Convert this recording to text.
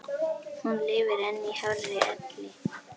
Hún lifir enn í hárri elli.